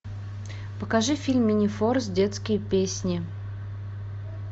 покажи фильм минифорс детские песни